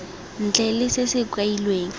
ntle le se se kailweng